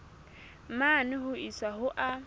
mane ho isa ho a